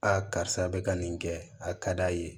karisa bɛ ka nin kɛ a ka d'a ye